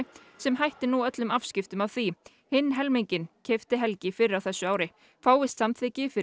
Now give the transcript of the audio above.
sem hættir nú öllum afskiptum af því hinn helminginn keypti Helgi fyrr á þessu ári fáist samþykki fyrir